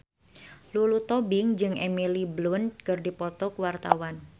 Lulu Tobing jeung Emily Blunt keur dipoto ku wartawan